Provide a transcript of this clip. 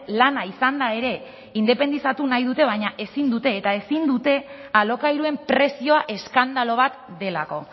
lana izanda ere independizatu nahi dute baina ezin dute eta ezin dute alokairuen prezioa eskandalu bat delako